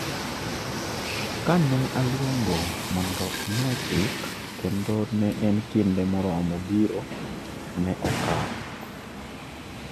Kane aluongo mondo omiya chik kendo ne en kinde moromo biro ne okawo